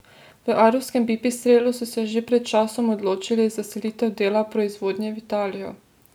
V ajdovskem Pipistrelu so se že pred časom odločili za selitev dela proizvodnje v Italijo.